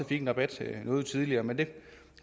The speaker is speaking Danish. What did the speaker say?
fik en rabat noget tidligere men det